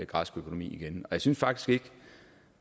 græsk økonomi igen jeg synes faktisk ikke